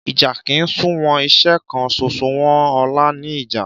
Ìjà kì ń sú wọn. Iṣẹ́ kan ṣoṣo wọn ọ̀la ni ìjà.